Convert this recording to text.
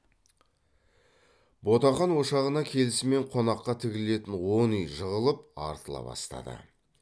ботақан ошағына келісімен қонаққа тігілетін он үй жығылып артыла бастады